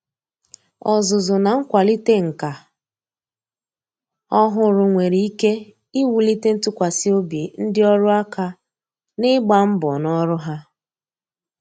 Ọzụzụ na nkwalite nka ọhụrụ nwere ike iwulite ntụkwasị obi ndị ọrụ aka ná ịgba mbọ ná ọrụ ha.